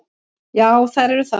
Já, þær eru það.